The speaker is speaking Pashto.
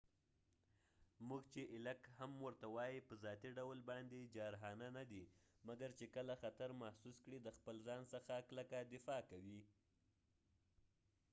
موږ چې ایلک هم ورته وایي په ذاتی ډول باندي جارحانه نه دي، مګر چې کله خطر محسوس کړي د خپل ځان څخه کلکه دفاع کوي